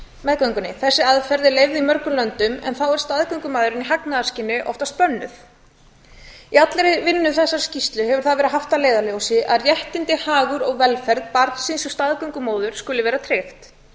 meðgöngunni þessi aðferð er leyfð í mörgum löndum en þá er staðgöngumæðrun í hagnaðarskyni oftast bönnuð í allri vinnu við þessa skýrslu hefur það verið haft að leiðarljósi að réttindi hagur og velferð barnsins og staðgöngumóður skuli vera tryggt